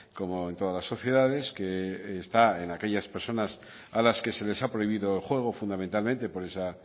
como en todas las sociedades que está en aquellas personas a las que se les ha prohibido el juego fundamentalmente por esa